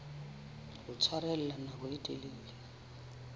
ho tshwarella nako e telele